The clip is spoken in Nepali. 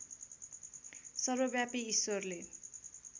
सर्वव्यापी ईश्वरले